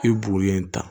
I ye buguri in ta